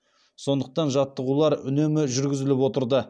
сондықтан жаттығулар үнемі жүргізіліп отырды